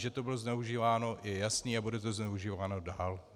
Že to bylo zneužíváno, je jasné a bude to zneužíváno dál.